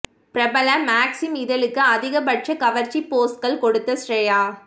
பிரபல மேக்ஸிம் இதழுக்கு அதிக பட்ச கவர்ச்சி போஸ்கள் கொடுத்த ஸ்ரேயா